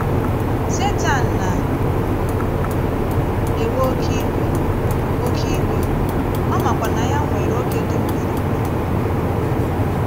Setan na - ewe oké íwe, oké íwe, ọ makwa na ya nwere ògé dị mkpírìkpi.